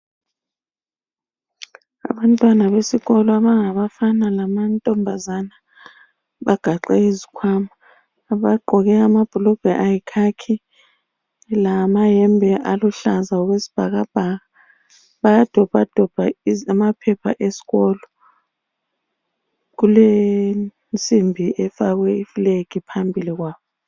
Abantwana besikolo abangabafana lamantombazana bagaxe izikwama. Bagqoke amabhulugwa ayikhakhi lamayembe aluhlaza okwesibhakabhaka. Bayadobhadobha amaphepha esikolo. Kulensimbi efakwe ifulegi phambili kwabo.